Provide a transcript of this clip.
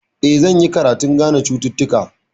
Eh, zan yi karatun gane cututtuka.